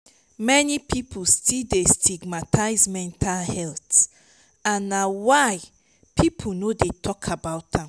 many people still dey stigmatize mental health and na why people no dey talk about am.